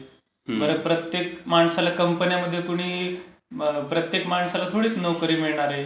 बरं, प्रत्येक माणसाला कंपन्यांमध्ये कोणी प्रत्येक माणसाला थोडीच नोकरी मिळणार आहे?